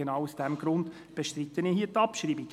Genau aus diesem Grund bestreite ich die Abschreibung.